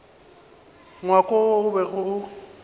ngwako wo o bego o